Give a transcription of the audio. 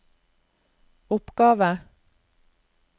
oppgave